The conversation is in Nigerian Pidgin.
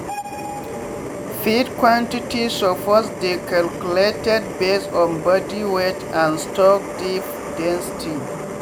feed quantity suppose dey calculated based on body weight and stock deep density